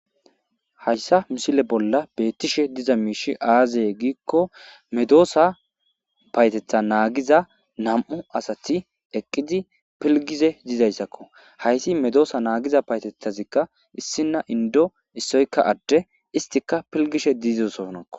Hayssa misile bolla beettishe diza miishi aazaye giikko medoosa payetetha naagiza nam'u asati eqqidi pilgize diizayssakko hayssi medoosa naagiza payetethazikka issina indo issoyka adde istika pilgishe diiziosonao.